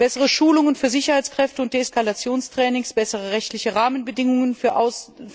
Bessere Schulungen für Sicherheitskräfte und Deeskalationstrainings, bessere rechtliche Rahmenbedingungen für